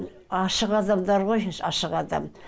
ашық адамдар ғой ашық адам